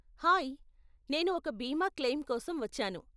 Hi, నేను ఒక బీమా క్లెయిమ్ కోసం వచ్చాను.